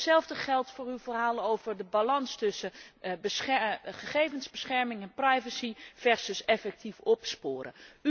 Hetzelfde geldt voor uw verhaal over de balans tussen gegevensbescherming en privacy versus effectief opsporen.